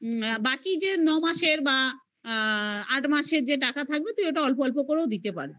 বাকি যে ন মাসের বা আ আট মাসের যে টাকা থাকবে তুই ওটা অল্প অল্প করেও দিতে পারবি